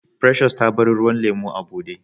Precious ta bar ruwan lemu a bude.